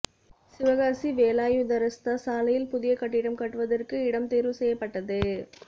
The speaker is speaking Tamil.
சிவகாசி வேலாயுதரஸ்தா சாலையில் புதிய கட்டிடம் கட்டுவதிற்கு இடம் தோ்வு செய்யப்பட்டது